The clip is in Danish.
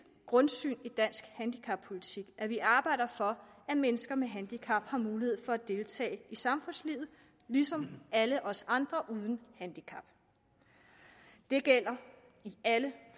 grundsyn i dansk handicappolitik at vi arbejder for at mennesker med handicap har mulighed for at deltage i samfundslivet ligesom alle os andre uden handicap det gælder alle